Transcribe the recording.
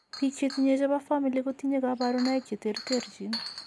Biik chetinye chebo family kotinye kabarunaik che terterchin